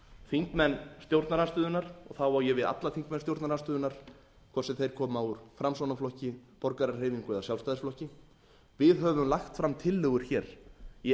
þingmenn stjórnarandstöðunnar og þá á ég við alla þingmenn stjórnarandstöðunnar hvort sem þeir koma úr framsóknarflokki borgarahreyfingu eða sjálfstæðisflokki við höfum lagt fram tillögur hér í